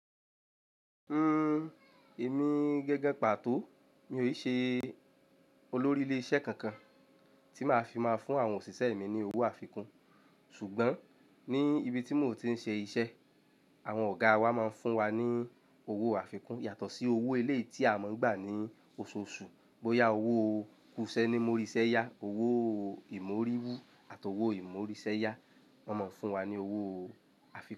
Uhm, èmi gangan pàtó mi ò ṣe olórí ilé iṣẹ́ kankan tí máa fi máa fún àwọn òṣìṣẹ́ mi ní owó àfikún. Ṣùgbọ́n ní ibi tí mò ń ti ń ṣe iṣẹ́, àwọn ọ̀gáa wa máa ń fún wa ní owó àfikún yàtọ̀ sí owó eléyì tí a máa ń gbà ní oṣooṣù. Bóyá owó kusẹ ni móríṣẹ́ yá, owó ìmóríwú àti owó ìmóríṣẹ́ yá, wọ́n máa ń fún wa ní owó àfikún.